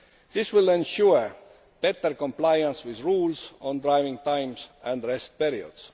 This will ensure better compliance with rules on driving times and rest periods.